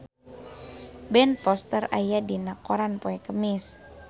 Ben Foster aya dina koran poe Kemis